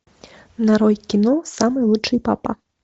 нарой кино самый лучший папа